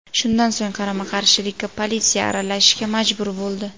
Shundan so‘ng qarama-qarshilikka politsiya aralashishga majbur bo‘ldi.